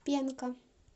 пенка